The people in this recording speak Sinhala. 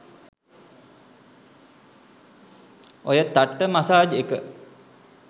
ඔය තට්ට මසාජ් එක